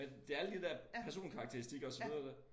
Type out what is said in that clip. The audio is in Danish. Men det alle de der personkarakteristikker og så videre